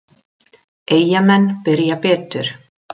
Eyjamenn byrja betur.